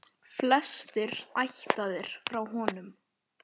Flestir ættaðir frá honum.